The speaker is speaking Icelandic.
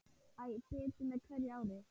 Æ betur með hverju ári.